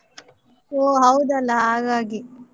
ಓಹ್ ಹೌದಲ್ಲಾ? ಹಾಗಾಗಿ.